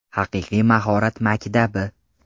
Haqiqiy mahorat maktabi!